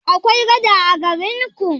Akwai gada a garin ku?